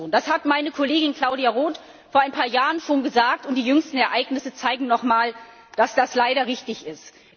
Das hat meine Kollegin Claudia Roth schon vor ein paar Jahren gesagt, und die jüngsten Ereignisse zeigen nochmal, dass das leider richtig ist.